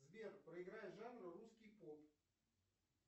сбер проиграй жанр русский поп